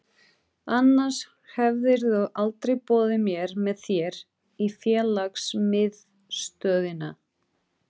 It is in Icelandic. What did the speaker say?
Annars hefðirðu aldrei boðið mér með þér í félagsmiðstöðina.